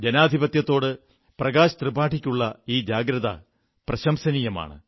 ജനാധിപത്യത്തോട് പ്രകാശ് ത്രിപാഠിക്കുള്ള ഈ ജാഗ്രത പ്രശംസനീയമാണ്